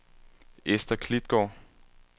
Esther Klitgaard